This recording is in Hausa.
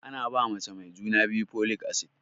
Ana ba mace mai juna biyu folic acid